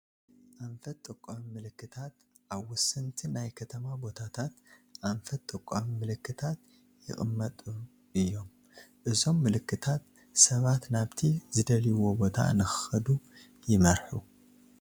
ኣንፈት ጠቋሚ ምልክታት-ኣብ ወሰንቲ ናይ ከተማ ቦታታት ኣንፈት ጠቋሚ ምልክታት ይቕመጡ እዮም፡፡ እዞም ምልክታት ሰባት ናብቲ ዝደልይዎ ቦታ ንክኸዱ ይመርሑ፡፡